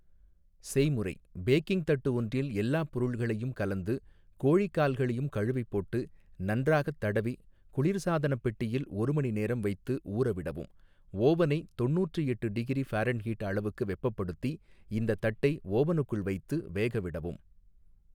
செய்முறை, பேக்கிங் தட்டு ஒன்றில் எல்லா பொருள்களையும், கலந்து, கோழிக்கால்களையும் கழுவிப்போட்டு, நன்றாகத்தடவி குளிர்சாதனப்பெட்டியில், ஒரு மணிநேரம் வைத்து, ஊறவிடவும் ஓவனை, தொண்ணூற்றி எட்டு டிகிரி ஃபாரண்ஹீட் அளவுக்கு வெப்பப்படுத்தி, இந்த தட்டை ஓவனுக்குள் வைத்து வேகவிடவும்.